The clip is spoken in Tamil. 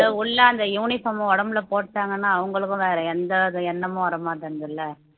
உள்ள அந்த uniform அ உடம்புல போட்டாங்கன்னா அவங்களுக்கும் வேற எந்த வித எண்ணமும் வர மாட்டேங்குதுல்ல